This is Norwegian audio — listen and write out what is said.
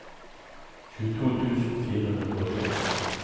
tjueto tusen fire hundre og tolv